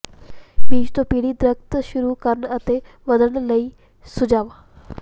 ਬੀਜ ਤੋਂ ਪੀੜ੍ਹੀ ਦਰੱਖਤ ਸ਼ੁਰੂ ਕਰਨ ਅਤੇ ਵਧਣ ਲਈ ਸੁਝਾਅ